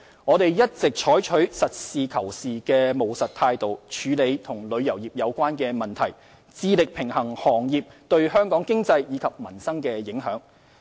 我們一直採取實事求是的務實態度處理旅遊業相關問題，致力平衡行業對香港經濟及民生的影響。